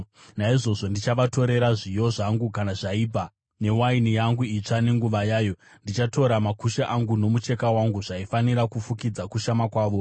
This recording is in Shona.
“Naizvozvo ndichavatorera zviyo zvangu kana zvaibva, newaini yangu itsva nenguva yayo. Ndichatora makushe angu nomucheka wangu zvaifanira kufukidza kushama kwavo.